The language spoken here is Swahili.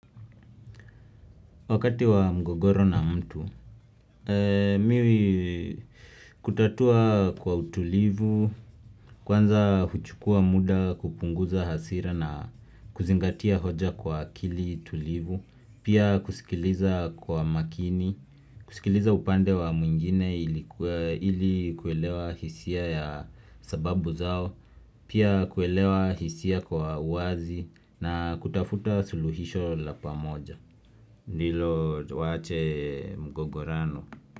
Wakati wa mgogoro na mtu, mimi kutatua kwa utulivu, kwanza huchukua muda kupunguza hasira na kuzingatia hoja kwa akili tulivu, pia kusikiliza kwa makini, kusikiliza upande wa mwingine ili kuelewa hisia ya sababu zao, pia kuelewa hisia kwa uwazi na kutafuta suluhisho la pamoja. Ndilo waache mgogorano.